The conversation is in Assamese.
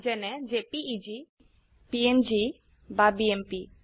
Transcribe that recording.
যেনে জেপিইজি পিএনজি বা বিএমপি